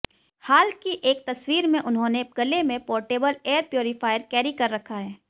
हाल की एक तस्वीर में उन्होंने गले में पोर्टेबल एयर प्यूरीफायर कैरी कर रखा है